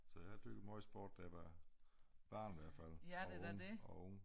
Så jeg har dyrket meget sport da jeg var barn i hvert fald og ung og ung